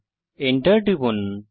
Enter টিপুন